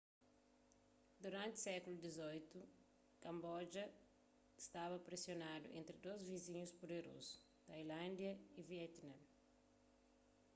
duranti sékulu xviii kamboja stada presionadu entri dôs vizinhus puderozu tailándia y vietname